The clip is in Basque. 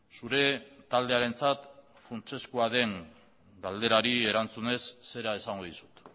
zure taldearentzat funtsezkoa den galderari erantzunez zera esango dizut